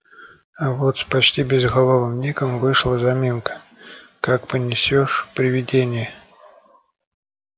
а вот с почти безголовым ником вышла заминка как понесёшь привидение